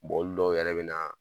Bɔn olu dɔw yɛrɛ bɛ na.